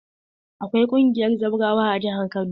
Akwai ƙungiyar zawrawa a jihar Kano.